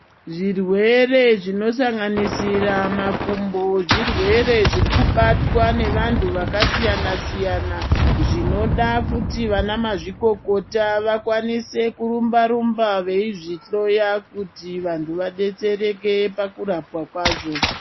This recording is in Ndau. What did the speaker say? Zvirwere zvino sanganisira makumbo zvirwere zviri kubatwa nevantu vakasiyana siyana zvinoda kuti vana mazvikokota vakwanise kurumba rumba veizvihloya kuti vantu vadetsereke pakurapwa kwazvo.